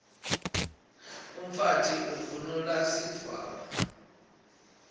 umfati uvunulb sidvwaba